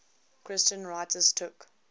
christian writers took